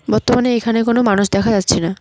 বর্তমানে এখানে কোন মানুষ দেখা যাচ্ছে না।